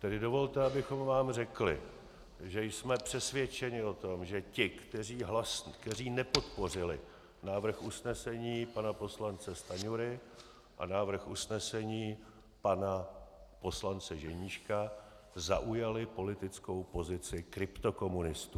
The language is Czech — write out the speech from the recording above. Tedy dovolte, abychom vám řekli, že jsme přesvědčeni o tom, že ti, kteří nepodpořili návrh usnesení pana poslance Stanjury a návrh usnesení pana poslance Ženíška, zaujali politickou pozici kryptokomunistů.